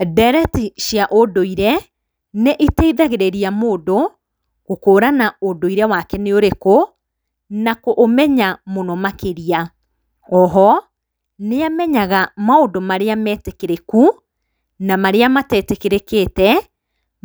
Ndereti cia ũndũire nĩ iteithagĩrĩria mũndũ gũkũrana ũndũire wake nĩ ũrĩkũ, na kũũmenya mũno makĩria. Oho, nĩ amenyaga maũndũ marĩa metĩkĩrĩku na marĩa matetĩkĩrĩkĩte,